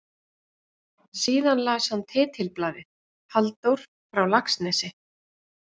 Síðan las hann titilblaðið: Halldór frá Laxnesi?